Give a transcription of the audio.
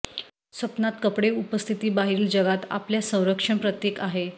स्वप्नात कपडे उपस्थिती बाहेरील जगात आपल्या संरक्षण प्रतीक आहे